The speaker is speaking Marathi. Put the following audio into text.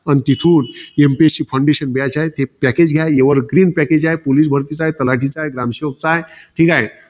मग तिथून, MPSC foundation घ्यायचे आहे, ते package घ्या. Evergreen package आहे. Police भरतीच आहे. तलाठीच आहे. ग्रामसेवकच आहे. ठीके?